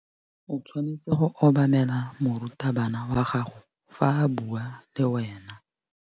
O tshwanetse go obamela morutabana wa gago fa a bua le wena.